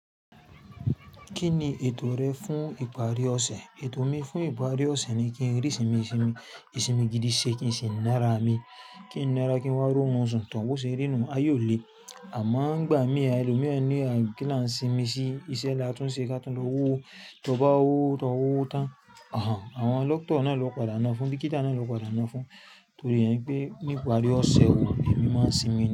Kí ni ètò rẹ fún ìparí ọ̀sẹ̀? Ètò mi fún ìparí ọ̀sẹ̀ ni kí n rí ìsinmi, ìsinmi gidi ṣe, kí n ṣe nara mi, kí n nara kí n wá ró orun sùn tán bó ṣe rí inú aye o le. Àmọ́ ń gbà mí ẹlòmíràn ni a kí lá ń sinmi sí iṣẹ́ láti tún ṣe kí a tó lọ wúwo. Tí o bá wa wowo to wowo tán, àwọn doctor náà lọ padà ná fún, dọ́kítà náà lọ padà ná fún. Torí ẹni pé níparí ọ̀sẹ̀, ẹni máa ń sinmi ni.